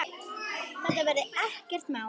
Þetta verði ekkert mál.